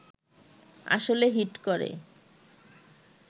আসলে হিট করে